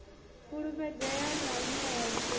fulufhedzea na u nṋea tshirunzi